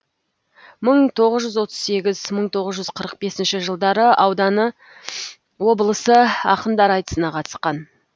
мың тоғыз жүз отыз сегіз мың тоғыз жүз қырық бесінші жылдары ауданы облысы ақындар айтысына қатысқан